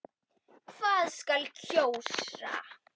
Hvað skal kjósa?